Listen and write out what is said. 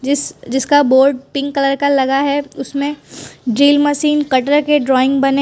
जिस जिसका board pink colour का लगा है। उसमें ड्रिल मशीन कटर के ड्राइंग बने --